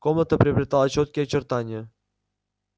комната приобретала чёткие очертания